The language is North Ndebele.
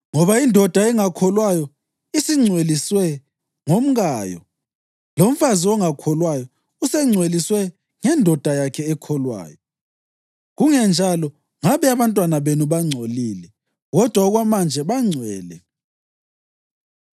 Ngoba indoda engakholwayo isingcweliswe ngomkayo, lomfazi ongakholwayo usengcweliswe ngendoda yakhe ekholwayo. Kungenjalo ngabe abantwana benu bangcolile, kodwa okwamanje bangcwele.